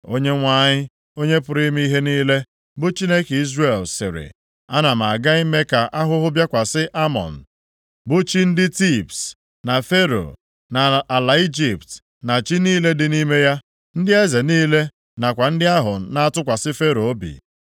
Onyenwe anyị, Onye pụrụ ime ihe niile, bụ Chineke Izrel, sịrị, “Ana m aga ime ka ahụhụ bịakwasị Amọn, bụ chi ndị Tibs, na Fero, na ala Ijipt na chi niile dị nʼime ya, ndị eze ya niile nakwa ndị ahụ na-atụkwasị Fero obi.